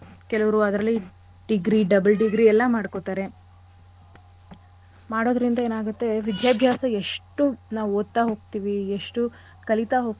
ಕೆಲುವ್ರು ಅದ್ರಲ್ಲಿ degree double degree ಎಲ್ಲಾ ಮಾಡ್ಕೊತಾರೆ. ಮಾಡೋದ್ರಿಂದ ಏನಾಗತ್ತೆ ವಿದ್ಯಾಭ್ಯಾಸ ಎಷ್ಟು ನಾವ್ ಓದ್ತಾ ಹೋಗ್ತಿವಿ ಎಷ್ಟು ಕಲಿತಾ ಹೋಗ್ತಿವಿ,